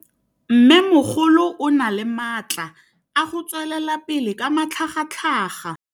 Mmêmogolo o na le matla a go tswelela pele ka matlhagatlhaga.